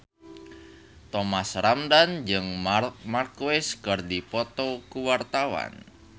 Thomas Ramdhan jeung Marc Marquez keur dipoto ku wartawan